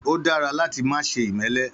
Ó dára láti má ṣe imẹ́lẹ